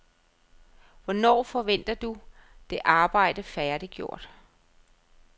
Hvornår forventer du det arbejde færdiggjort?